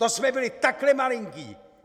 To jsme byli takhle malinký.